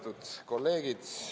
Lugupeetud kolleegid!